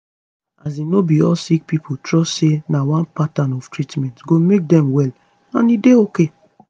as in no be all sick pipo trust say na one pattern of treatment go make dem well and e dey ok